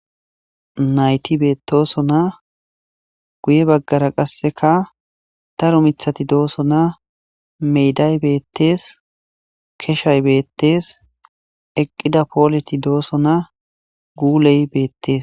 Nayti beettosona guye baggara qasseka daro miththati doosona. Meeday beettes, keshay beettes, eqqida poolet doosona, guuley beettes.